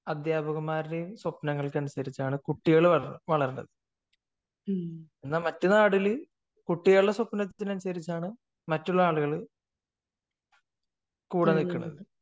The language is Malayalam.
അധ്യാപകന്മാരുടെയും സ്വപ്നങ്ങൾക്ക് അനുസരിച്ചാണ് കുട്ടികൾ വളരുന്നത് എന്നാൽ മറ്റു നാടുകളിൽ കുട്ടികളുടെ സ്വപ്നങ്ങള്ക്ക് അനുസരിച്ചാണ് മറ്റുള്ള ആളുകൾ കൂടെ നിൽക്കുന്നത്